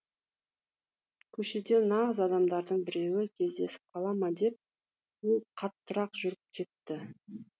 көшеде нағыз адамдардың біреуі кездесіп қала ма деп ол қаттырақ жүріп кетті